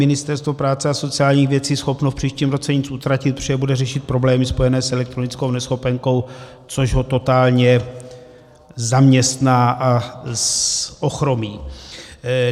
Ministerstvo práce a sociálních věcí schopno v příštím roce nic uplatnit, protože bude řešit problémy spojené s elektronickou neschopenkou, což ho totálně zaměstná a ochromí.